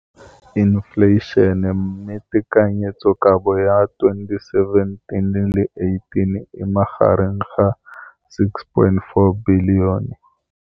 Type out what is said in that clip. Infleišene, mme tekanyetsokabo ya 2017, 18, e magareng ga R6.4 bilione.